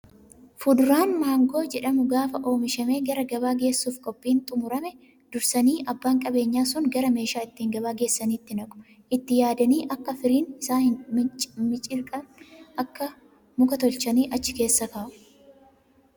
Fuduraan maangoo jedhamu gaafa oomishamee gara gabaa geessuuf qophiin xumurame dursanii abbaan qabeenyaa sun gara meeshaa ittiin gabaa geessaniitti naqu. Itti yaadanii akak firiin isaa hin miciriqne muka tolchanii achi keessa kaa'u.